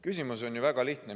Küsimus on väga lihtne.